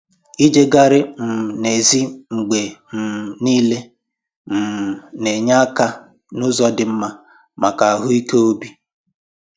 Ijegharị um n'èzí mgbe um niile um na-enye aka n'ụzọ dị mma maka ahụike obi